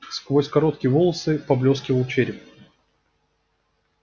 сквозь короткие волосы поблёскивал череп